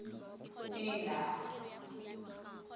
pina